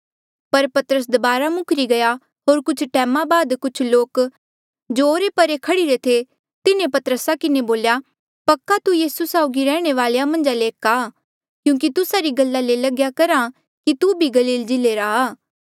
पर पतरस दबारा मुखरी गया होर कुछ टैमा बाद कुछ लोक जो ओरे परे खड़ीरे थे तिन्हें पतरसा किन्हें बोल्या पक्का तू यीसू रे साउगी रैह्णे वालेया मन्झा ले एक आ क्यूंकि तुस्सा री गला ले लग्या करहा कि तू भी गलील जिल्ले रा आ